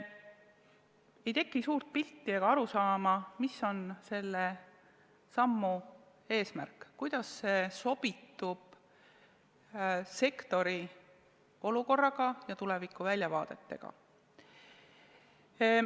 Ei teki suurt pilti ega arusaama, mis on selle sammu eesmärk, kuidas see sobitub sektori olukorraga ja tulevikuväljavaadetega.